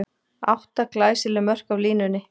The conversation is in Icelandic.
Átta glæsileg mörk af línunni!